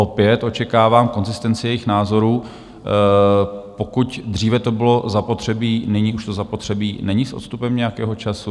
Opět očekávám konzistenci jejich názorů - pokud dříve to bylo zapotřebí, nyní to už zapotřebí není s odstupem nějakého času?